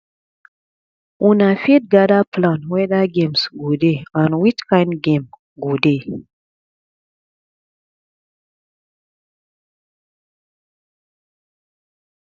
una fit gather plan weda games go dey and which kind game go dey